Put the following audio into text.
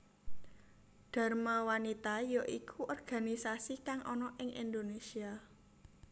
Dharma wanita ya iku organisasi kang ana ing Indonesia